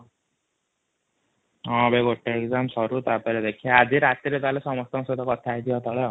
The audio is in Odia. ହଁ ରେ ଗୋଟେ ଏଗଜାମ ସଋ ଟା ପରେ ଦେଖିବା ଆଜି ରାତି ରେ ତାହେଲେ ସମସ୍ତଙ୍କୁ ସହିତ କଥା ହେଇଯିବା |